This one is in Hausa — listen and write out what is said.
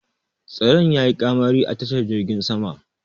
Tsaron ya yi ƙamari a tashar jirgin sama